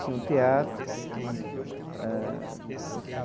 Tinha um teatro eh.